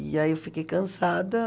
E aí eu fiquei cansada.